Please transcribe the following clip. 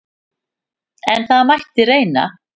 En það mætti reyna!